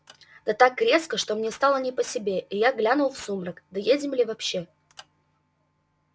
да так резво что мне стало не по себе и я глянул в сумрак доедем ли вообще